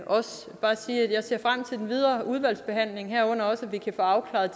også bare sige at jeg ser frem til den videre udvalgsbehandling herunder også at vi kan få afklaret